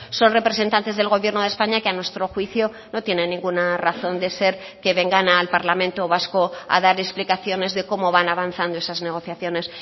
son representantes del gobierno de españa que a nuestro juicio no tienen ninguna razón de ser que vengan al parlamento vasco a dar explicaciones de cómo van avanzando esas negociaciones